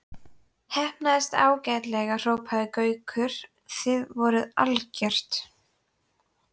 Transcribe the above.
Heppnaðist ágætlega hrópaði Gaukur, þið voruð algjört.